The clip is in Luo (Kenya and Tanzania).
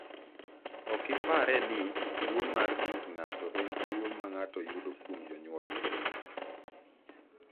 Ok ipare ni tuwo mar ng’ut ng’ato en tuwo ma ng’ato yudo kuom jonyuolne.